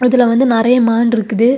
இதுல வந்து நெறைய மான் இருக்குது.